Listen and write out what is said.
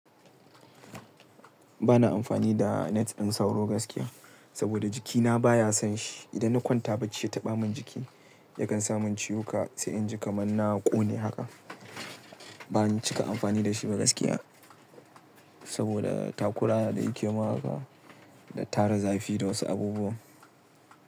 Ba na amfani da net ɗin sauro gaskiya, saboda jikina baya son shi. Idan na kwanta bacci ya taɓa min jiki, yakan samin ciwuka sai inji kaman na ƙone haka. Ban cika amfani da shi ba gaskiya, saboda takura da yake yi mun haka da tara zafi da wasu abubuwa.